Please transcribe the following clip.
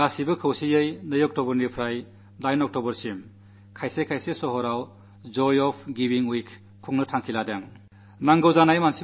കളുമായി ചേർന്ന് ഒക്ടോബർ 2 മുതൽ 8 വരെ പല നഗരങ്ങളിലും ജോയ് ഓഫ് ഗിവിംഗ് വീക്ക് ആഘോഷിക്കാൻ പോകയാണ്